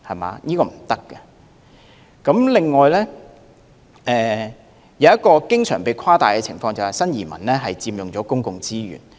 還有一種經常被誇大的情況，便是新移民佔用公共資源。